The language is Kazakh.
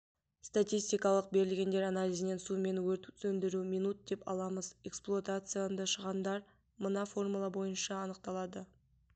статистикалық берілгендер анализінен сумен өрт сөндіру минут деп аламыз эксплуатационды шығындар мына формула бойынша анықталады